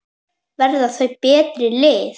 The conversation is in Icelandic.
Verða þau betri lið?